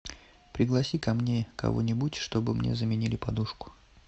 пригласи ко мне кого нибудь чтобы мне заменили подушку